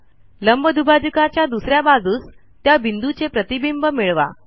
लंबदुभाजकाच्या दुस या बाजूस त्या बिंदूचे प्रतिबिंब मिळवा